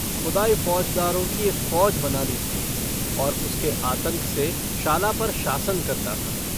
ख़ुदाई फ़ौजदारों की एक फ़ौज बना ली थी और उसके आतंक से शाला पर शासन करता था।